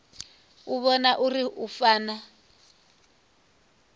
u vhona uri hu fana